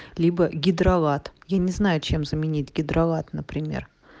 гидролат я не знаю чем заменить гидролат например